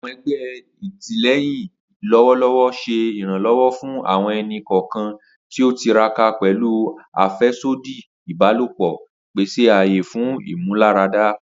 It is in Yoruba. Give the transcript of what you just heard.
Awọn ẹgbẹ atilẹyin lọwọlọwọ ṣe iranlọwọ fun awọn ẹni-kọọkan ti o tiraka pẹlu afẹsodi ibalopọ, pese aaye fun imularada.